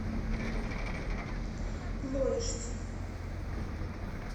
плоешти